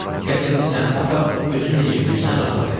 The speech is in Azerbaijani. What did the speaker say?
Gətirmisən, apar özün necə bilirsən rahat elə.